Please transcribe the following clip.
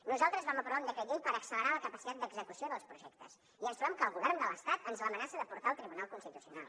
nosaltres vam aprovar un decret llei per accelerar la capacitat d’execució dels projectes i ens trobem que el govern de l’estat ens l’amenaça de portar al tribunal constitucional